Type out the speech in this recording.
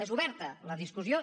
és oberta la discussió